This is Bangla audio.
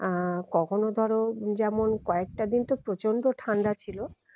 আহ কখনো ধরো যেমন কয়েকটা দিন তো প্রচন্ড ঠান্ডা ছিল